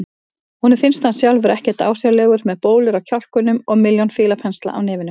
Honum finnst hann sjálfur ekkert ásjálegur með bólur á kjálkunum og milljón fílapensla á nefinu.